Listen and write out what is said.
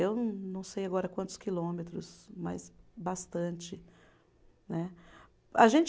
Eu não sei agora quantos quilômetros, mas bastante né. A gente